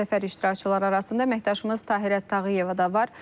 Səfər iştirakçıları arasında əməkdaşımız Tahirə Tağıyeva da var.